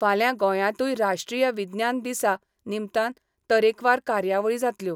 फाल्यां गोंयांतूय राष्ट्रीय विज्ञान दिसा निमतान तरेकवार कार्यावळी जातल्यो.